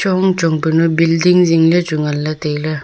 ongchong panu building jingle chu nganle tailey.